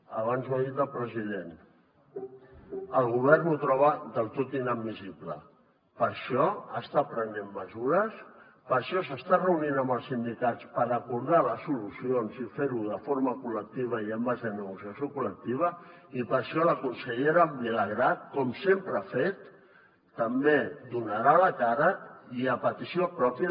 abans ho ha dit el president el govern ho troba del tot inadmissible per això està prenent mesures per això s’està reunint amb els sindicats per acordar les solucions i fer ho de forma col·lectiva i en base a negociació col·lectiva i per això la consellera vilagrà com sempre ha fet també donarà la cara i a petició pròpia